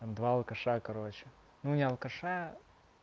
там два алкаша короче ну не алкаша